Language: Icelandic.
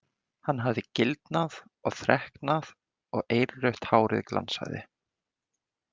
Hann hafði gildnað og þreknað og eirrautt hárið glansaði.